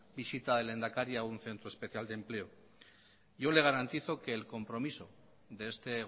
visita del lehendakari a un centro especial de empleo yo le garantizo que el compromiso de este